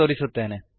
ನಾನದನ್ನು ತೋರಿಸುತ್ತೇನೆ